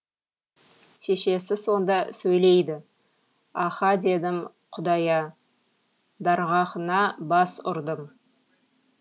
шешесі сонда сөйлейді аһа дедім құдая дарғаһыңа бас ұрдым